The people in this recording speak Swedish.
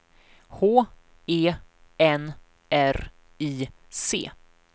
H E N R I C